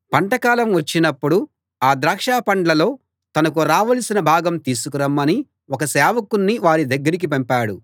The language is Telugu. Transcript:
పంటకాలం వచ్చినప్పుడు ఆ ద్రాక్షపండ్లలో తనకు రావలసిన భాగం తీసుకురమ్మని ఒక సేవకుణ్ణి వారి దగ్గరికి పంపాడు